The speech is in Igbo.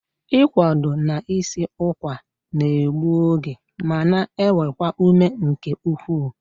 Ị kwado na i si ụkwa n'egbu oge ma na ewekwa ume nke ukwuu